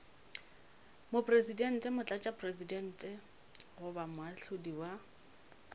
mopresidente motlatšamopresidente goba moahlodi wa